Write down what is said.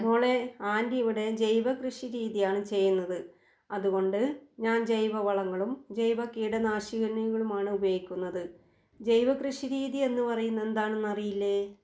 മോളെ ആൻ്റി ഇവിടെ ജൈവ കൃഷിരീതിയാണ് ചെയ്യുന്നത്. അതുകൊണ്ട് ഞാൻ ജൈവവളങ്ങളും ജൈവകീടനാശിനികളുമാണ് ഉപയോഗിക്കുന്നത്. ജൈവ കൃഷിരീതി എന്ന് പറയുന്നത് എന്താണെന്ന് അറിയില്ലേ?